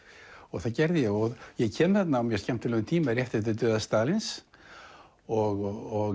það gerði ég og ég kem þarna á mjög skemmtilegum tíma rétt eftir dauða Stalíns og